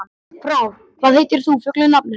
Frár, hvað heitir þú fullu nafni?